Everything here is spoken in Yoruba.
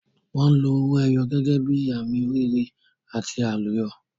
Wọn lo owó ẹyọ gẹ́gẹ́ bí àmì oríire àti àlùyọ.